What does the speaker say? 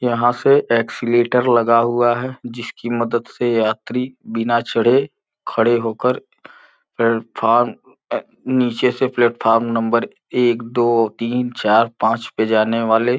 यहाँ से एस्कलैटर लगा हुआ है जिसकी मदद से यात्री बिना चढ़े खड़े होकर प्लेटफार्म अम नीचे से प्लेटफोर्म नंबर एक दो तीन चार पांच पे जाने वाले --